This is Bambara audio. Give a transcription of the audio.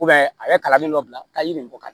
a bɛ kalalen dɔ bila ka yiri bɔ ka di